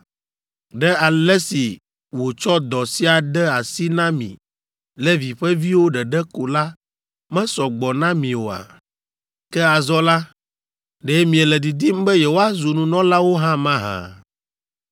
Ɖe ale si wòtsɔ dɔ sia de asi na mi Levi ƒe viwo ɖeɖe ko la mesɔ gbɔ na mi oa? Ke azɔ la, ɖe miele didim be yewoazu nunɔlawo hã mahã?